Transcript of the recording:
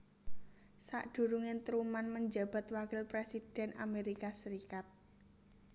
Sadurunge Truman menjabat wakil presiden Amerika Serikat